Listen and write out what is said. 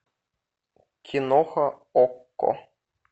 киноха окко